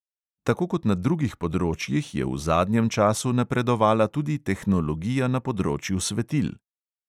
Tako kot na drugih področjih je v zadnjem času napredovala tudi tehnologija na področju svetil.